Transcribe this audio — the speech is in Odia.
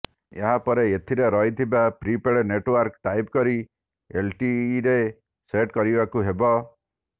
ଏହାପରେ ଏଥିରେ ରହିଥିବା ପ୍ରିଫର୍ଡ଼ ନେଟ୍ଓ୍ବାର୍କ ଟାଇପ୍ କରି ଏଲଟିଇରେ ସେଟ୍ କରିବାକୁ ହେବ